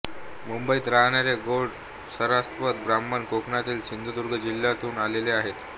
मुंबईत राहणारे गौड सारस्वत ब्राह्मण कोकणातील सिंधुदुर्ग जिल्ह्यातून आलेले आहेत